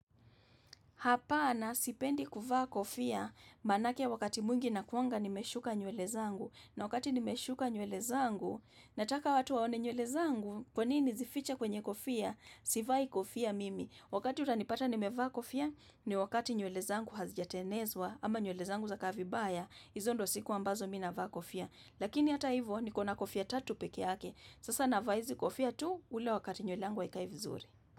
Hapana, sipendi kuvaa kofia, manake wakati mwingi nakuanga nimeshuka nywele zangu, na wakati nimeshuka nyuele zangu, nataka watu waone nywele zangu, kwa nini nizifiche kwenye kofia, sivai kofia mimi, wakati utanipata nimevaa kofia, ni wakati nywele zangu hazijatenezwa, ama nywele zangu zakaa vibaya, hizo ndio siku ambazo mi navaa kofia, lakini hata hivyo, nikona kofia tatu peke yake, sasa navaa hizi kofia tu, ule wakati nywele yangu haikai vizuri.